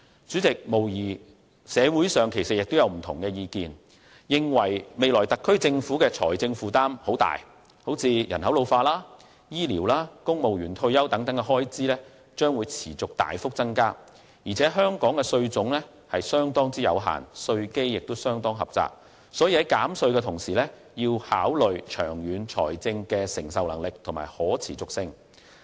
主席，社會上無疑眾說紛紜，認為特區政府未來的財政負擔會很大，人口老化、醫療和公務員退休等開支將會持續大幅增加，再加上香港的稅種相當有限，稅基亦相當狹窄，所以在減稅的同時，也要考慮長遠的財政承受能力和可持續性。